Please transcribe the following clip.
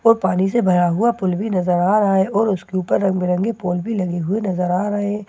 और पानी से भरा हुआ पुल भी नजर आ रहा है और उसके ऊपर रंग बिरंगे पोल भी लगे हुए नजर आ रहे।